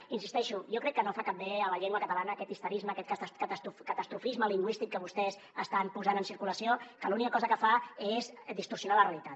i hi insisteixo jo crec que no fa cap bé a la llengua catalana aquest histerisme aquest catastrofisme lingüístic que vostès estan posant en circulació que l’única cosa que fa és distorsionar la realitat